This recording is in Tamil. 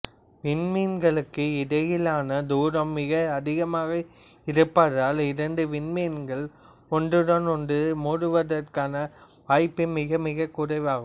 விண்மீன்களுக்கு இடையேயான தூரம் மிக அதிகமாக இருப்பதால் இரண்டு விண்மீன்களே ஒன்றுடன் ஒன்று மோதுவதற்கான வாய்ப்பு மிக மிகக் குறைவாகும்